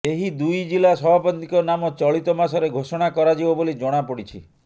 ଏହି ଦୁଇ ଜିଲା ସଭାପତିଙ୍କ ନାମ ଚଳିତ ମାସରେ ଘୋଷଣା କରାଯିବ ବୋଲି ଜଣାପଡ଼ିଛି